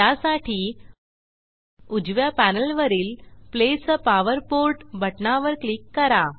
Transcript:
त्यासाठी उजव्या पॅनेलवरील प्लेस आ पॉवर पोर्ट बटणावर क्लिक करा